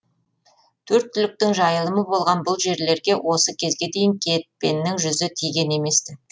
төрт түліктің жайылымы болған бұл жерлерге осы кезге дейін кетпеннің жүзі тиген емес ті